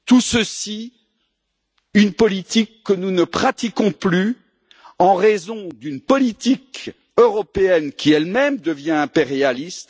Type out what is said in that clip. C'est une politique que nous ne pratiquons plus en raison d'une politique européenne qui, elle même, devient impérialiste.